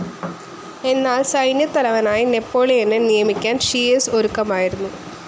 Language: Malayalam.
എന്നാൽ സൈന്യത്തലവനായി നെപോളിയനെ നിയമിക്കാൻ ഷിയേസ് ഒരുക്കമായിരുന്നു.